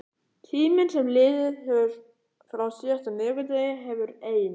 Tíminn sem liðið hefur frá síðasta miðvikudegi hefur ein